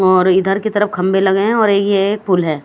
और इधर की तरफ खंबे लगे हैं और ये एक फूल है।